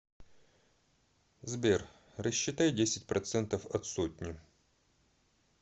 сбер рассчитай десять процентов от сотни